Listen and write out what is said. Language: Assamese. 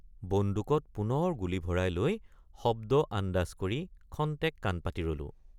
বন্দুকত পুনৰ গুলী ভৰাই লৈ শব্দ আন্দাজ কৰি ক্ষন্তেক কাণপাতি ৰলোঁ।